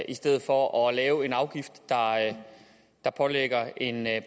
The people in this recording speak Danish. i stedet for at lave en afgift der pålægger en